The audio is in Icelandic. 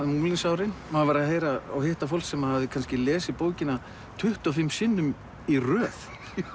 unglingsárin maður var að heyra og hitta fólk sem hafði kannski lesið bókina tuttugu og fimm sinnum í röð